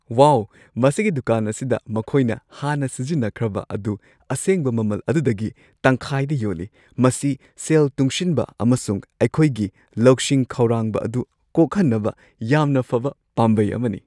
ꯋꯥꯎ! ꯃꯁꯤꯒꯤ ꯗꯨꯀꯥꯟ ꯑꯁꯤꯗ ꯃꯈꯣꯏꯅ ꯍꯥꯟꯅ ꯁꯤꯖꯤꯟꯅꯈ꯭ꯔꯕ ꯑꯗꯨ ꯑꯁꯦꯡꯕ ꯃꯃꯜ ꯑꯗꯨꯗꯒꯤ ꯇꯪꯈꯥꯏꯗ ꯌꯣꯜꯂꯤ꯫ ꯃꯁꯤ ꯁꯦꯜ ꯇꯨꯡꯁꯤꯟꯕ ꯑꯃꯁꯨꯡ ꯑꯩꯈꯣꯏꯒꯤ ꯂꯧꯁꯤꯡ ꯈꯧꯔꯥꯡꯕ ꯑꯗꯨ ꯀꯣꯛꯍꯟꯅꯕ ꯌꯥꯝꯅ ꯐꯕ ꯄꯥꯝꯕꯩ ꯑꯃꯅꯤ꯫